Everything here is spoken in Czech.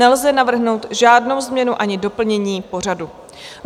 Nelze navrhnout žádnou změnu ani doplnění pořadu.